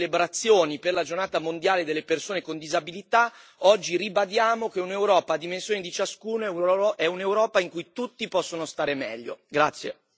A meno di una settimana dalle celebrazioni per la Giornata mondiale delle persone con disabilità, oggi ribadiamo che un'Europa a dimensioni di ciascuno è un'Europa in cui tutti possono stare meglio.